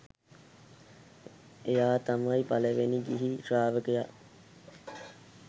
එයා තමයි පළවැනි ගිහි ශ්‍රාවකයා